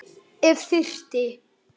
Já, sagði Finnur.